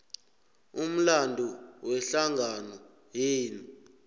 umlando wehlangano yenu